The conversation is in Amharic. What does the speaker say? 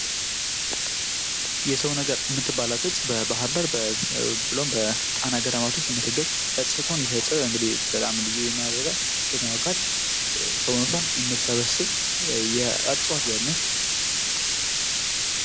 የሰው ነገር የምትባል ዕፅ በባህርዳር ብሎም በጣና ገዳማት ውስጥ የምትገኝ ዕፅ ስትሆን ይሄ ዕፅ ልዩ የሚያደርጋት ስትነኳት ሰውነቷን የምትሰበስብ የዕፅዋት ዘር ነች።